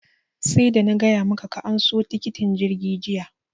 sarda na gaya maka ka anso tikitin jirgi jiya!